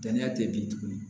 Danaya te bin tuguni